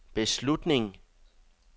beslutning